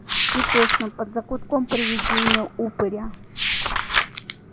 и точно под закутком привидения-упыря